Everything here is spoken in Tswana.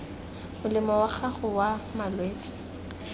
molemo wa gago wa malwetse